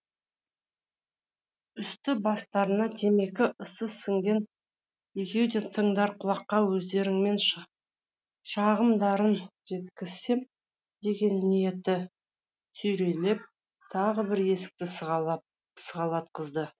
үсті бастарына темекі ысы сіңген екеуді тыңдар құлаққа өздерінің шағымдарын жеткізсем деген ниеті сүйрелеп тағы бір есікті сығалатқызды